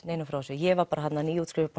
neinum frá þessu ég var þarna nýútskrifuð